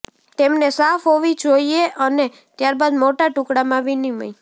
તેમને સાફ હોવી જોઈએ અને ત્યારબાદ મોટા ટુકડામાં વિનિમય